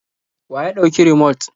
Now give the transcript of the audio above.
Wa ya ɗauki rumot?